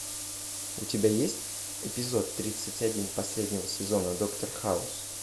у тебя есть эпизод тридцать один последнего сезона доктор хаус